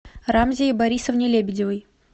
рамзие борисовне лебедевой